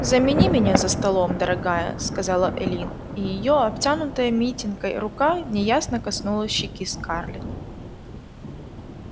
замени меня за столом дорогая сказала эллин и её обтянутая митенкой рука неясно коснулась щеки скарлетт